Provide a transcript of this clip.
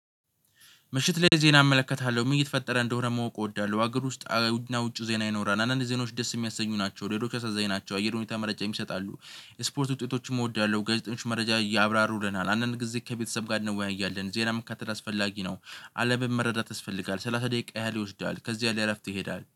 ምሽት ላይ ዜና አመለከታለሁ ምን እየተፈጠረ እንደሆነ ማወቅ እወዳለሁ። ሀገር ውስጥ እና ውጪ ዜና ይኖራል። አንዳንድ ዜኖች ደስ የሚያሰኙ ናቸው። ሌሎቹ አሳዛኝ ናቸው። አየር ሁኔታ መረጃም ይሰጣሉ። ስፖርት ውጤቶችም እወዳለሁ። ጋዜጠኞችም መረጃ ያብራሩልናል። አንዳንድ ጊዜ ከቤተሰብ ጋር እንወያያለን። ዜና መከታተለ አስፈላጊ ነው። አለምን መረዳት ያስፈልጋል። ሰላሳ ደቂቃ ያህል ይወስዳል። ከዚያ ለእረፍት ይሄዳል